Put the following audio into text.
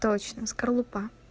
точно скорлупа